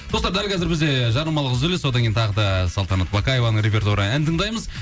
достар дәл қазір бізде жарнамалық үзіліс одан кейін тағы да салтанат бақаеваның репертуарынан ән тыңдаймыз